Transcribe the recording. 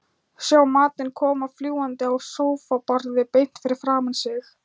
Sjá matinn koma fljúgandi á sófaborðið beint fyrir framan sig.